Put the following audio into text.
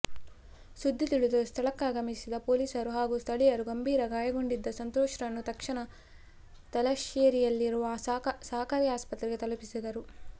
ಸುದ್ದಿ ತಿಳಿದು ಸ್ಥಳಕ್ಕಾಗಮಿಸಿದ ಪೊಲೀಸರು ಹಾಗೂ ಸ್ಥಳೀಯರು ಗಂಭೀರ ಗಾಯಗೊಂಡಿದ್ದ ಸಂತೋಷ್ರನ್ನು ತಕ್ಷಣ ತಲಶ್ಯೇರಿಯಲ್ಲಿರುವ ಸಹಕಾರಿ ಆಸ್ಪತ್ರೆಗೆ ತಲಪಿಸಿದರು